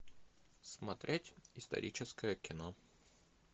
смотреть историческое кино